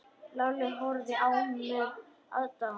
Lalli horfði á með aðdáun.